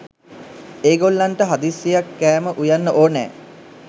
ඒගොල්ලන්නට හදිසියෙක් කෑම උයන්න ඕනෑ